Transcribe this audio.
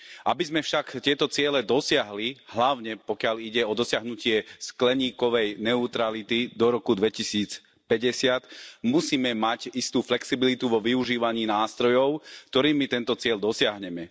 Aby sme však tieto ciele dosiahli, hlavne pokiaľ ide o dosiahnutie skleníkovej neutrality do roku 2050, musíme mať istú flexibilitu vo využívaní nástrojov, ktorými tento cieľ dosiahneme.